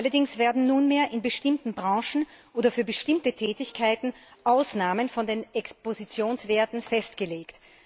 Allerdings werden nunmehr in bestimmten Branchen oder für bestimmte Tätigkeiten Ausnahmen von den Expositionswerten festgelegt.